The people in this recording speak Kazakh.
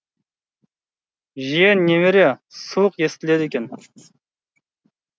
жиен немере суық естіледі екен